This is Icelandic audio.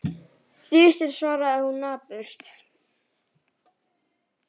Þusið, svarar hún napurt.